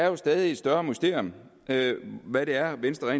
jo et stadig større mysterium hvad det er venstre